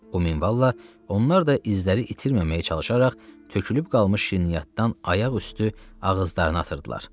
O minvalla onlar da izləri itirməməyə çalışaraq tökülüb qalmış şirniyyatdan ayaq üstü ağızlarına atırdılar.